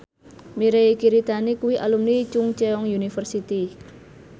Mirei Kiritani kuwi alumni Chungceong University